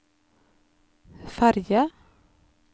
ferge